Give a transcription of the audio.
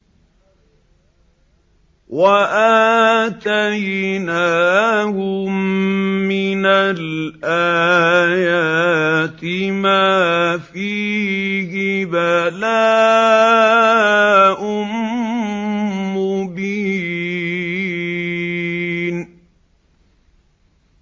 وَآتَيْنَاهُم مِّنَ الْآيَاتِ مَا فِيهِ بَلَاءٌ مُّبِينٌ